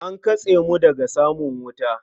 An katse mu daga samun wuta.